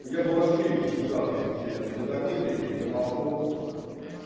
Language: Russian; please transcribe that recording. я бы вообще их сжигал если честно я до такой степени гомофоб